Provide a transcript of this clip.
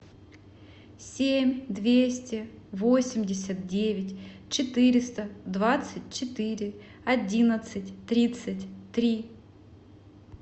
семь двести восемьдесят девять четыреста двадцать четыре одиннадцать тридцать три